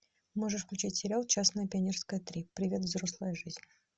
можешь включить сериал честное пионерское три привет взрослая жизнь